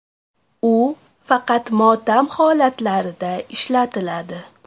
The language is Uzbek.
U faqat motam holatlarida ishlatiladi.